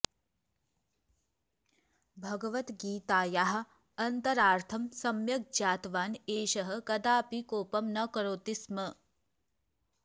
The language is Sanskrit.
भगवद्गीतायाः अन्तरार्थं सम्यक् ज्ञातवान् एषः कदापि कोपं न करोति स्म